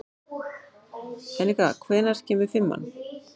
Eneka, hvenær kemur fimman?